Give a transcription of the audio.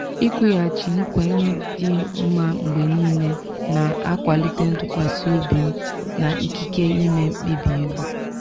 ikwughachi nkwenye dị mma mgbe niile na-akwalite ntụkwasị obi m na ikike ime mkpebi ego.